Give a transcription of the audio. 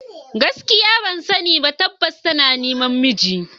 Gaskiya ban sani ba, tabbas tana neman namiji.